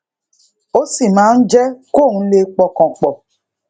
ó sì máa ń jé kóun lè pọkàn pò